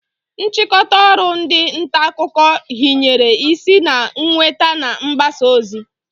Nchịkọta ọrụ ndị ntaakụkọ hinyere isi na nnweta na mgbasa ozi